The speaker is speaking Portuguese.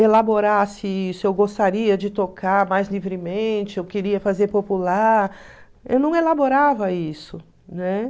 elaborasse isso, eu gostaria de tocar mais livremente, eu queria fazer popular, eu não elaborava isso, né?